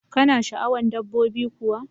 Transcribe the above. kana sha'awan dabbobi kuwa?